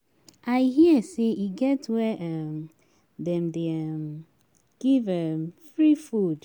I hear say e get where um dem dey um give um free food